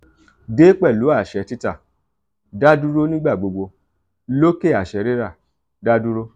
de pelu aṣẹ tita daduro nigbagbogbo loke aṣẹ rira da duro.